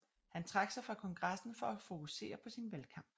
Han trak sig fra kongressen for at fokusere på sin valgkamp